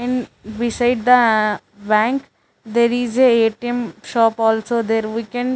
and beside the uh bank there is a A_T_M shop also there we can --